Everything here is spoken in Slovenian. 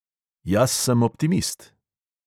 Jaz sem optimist.